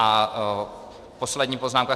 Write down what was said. A poslední poznámka.